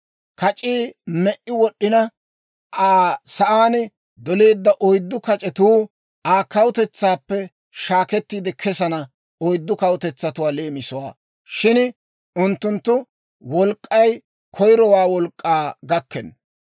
Kac'ii me"i wod'd'ina, Aa sa'aan doleedda oyddu kac'etuu Aa kawutetsaappe shaakettiide kesana oyddu kawutetsatuwaa leemisuwaa; shin unttunttu wolk'k'ay koyirowaa wolk'k'aa gakkenna.